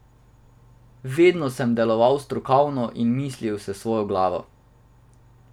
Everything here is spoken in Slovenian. Vedno sem deloval strokovno in mislil s svojo glavo.